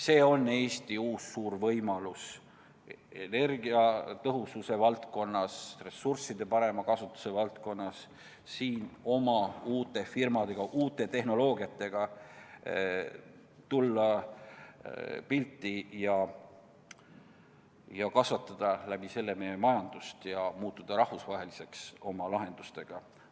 See on Eesti uus suur võimalus: tulla energiatõhususe valdkonnas ja kõiki ressursse paremini ära kasutades pildile uute firmadega, uute tehnoloogiatega ja kasvatada sel moel meie majandust ja muutuda tänu oma lahendustele rahvusvaheliseks.